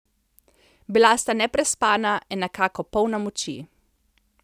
Bila sta neprespana, a nekako polna moči.